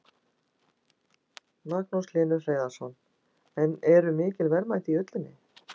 Magnús Hlynur Hreiðarsson: En eru mikil verðmæti í ullinni?